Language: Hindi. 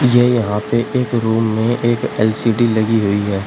ये यहां पे एक रूम में एक एलसीडी एल_सी_डी लगी हुई है।